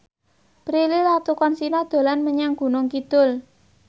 Prilly Latuconsina dolan menyang Gunung Kidul